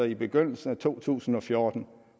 i begyndelsen af to tusind og fjorten